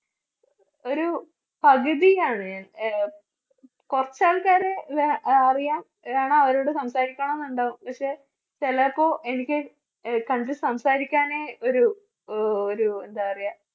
ഒരു പകുതിയാണ് അഹ് കുറച്ച് ആൾക്കാരെ അഹ് അറിയാം വേണം അവരോട് സംസാരിക്കണന്നുണ്ടാകും പക്ഷേ ചിലോർക്ക് എനിക്ക് കണ്ട് സംസാരിക്കാനേ ഒരു ഒരു എന്താ പറയുക